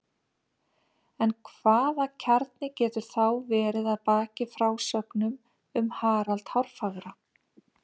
En hvaða kjarni getur þá verið að baki frásögnum um Harald hárfagra?